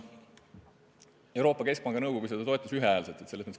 Euroopa Keskpanga nõukogu toetas seda ühehäälselt.